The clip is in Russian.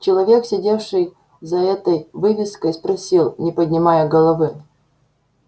человек сидевший за этой вывеской спросил не поднимая головы